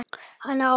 Hann á eftir.